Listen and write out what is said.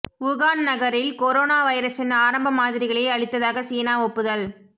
Wuhan நகரில் corona வைரஸின் ஆரம்ப மாதிரிகளை அழித்ததாக சீனா ஒப்புதல்